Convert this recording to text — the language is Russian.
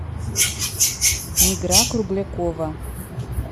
мигра круглякова